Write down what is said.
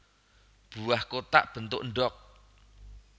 Buah kotak bentuk endhog